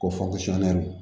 Ko